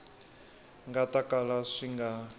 nga ta kala swi nga